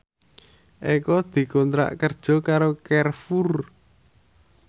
Eko dikontrak kerja karo Carrefour